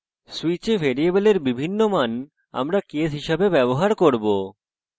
switch ভ্যারিয়েবলের বিভিন্ন মান আমরা কেস হিসাবে ব্যবহার করব